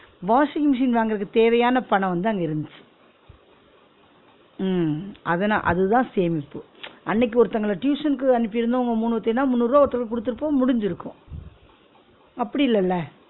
washing machine வாங்குறதுக்கு தேவையான பணம் வந்து அங்க இருந்துச்சு உம் அத நா அது தான் சேமிப்பு, அன்னைக்கு ஒருத்தங்கள tuition க்கு அனுப்பி இருந்தோம் உங்க மூனுவேர்தயும்னா முந்நூருவா ஒருத்தருக்கு குடுத்திருப்போம் முடிஞ்சிருக்கும் அப்டி இல்லல